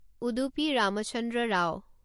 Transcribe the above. Udupi Ramachandra Rao